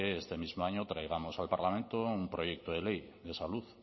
este mismo año traigamos al parlamento un proyecto de ley de salud